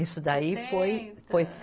Isso daí foi, foi.